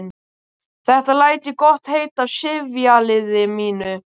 Þetta læt ég gott heita af sifjaliði mínu.